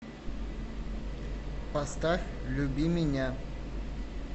поставь люби меня